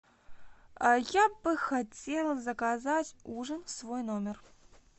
я бы хотела заказать ужин в свой номер